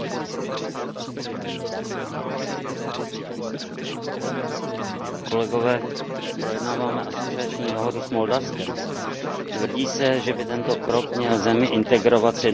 Pane předsedající, projednáváme asociační dohodu s Moldavskem. Tvrdí se, že by tento krok měl zemi integrovat s jednotným trhem Evropské unie, posílit právní stát a třeba i boj s korupcí.